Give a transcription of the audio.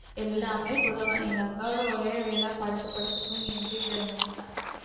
எல்லாமே கொடுத்திருவோம் எங்க அக்காவோட ஒரே வேலை படுத்து படுத்து தூங்கி எந்திரிக்கிறது மட்டும்தான்